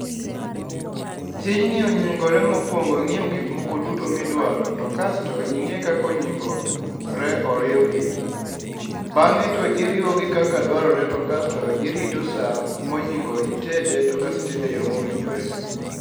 Tijni onyingore mokwongo e ng'iewo gik moko duto midwaro, to kasto ing'e kaka onyingore oriwgi. Bang'e to iriwogi kaka dwarore to kasto irito sa monyingo itede to kasto itede e yo mowinjore.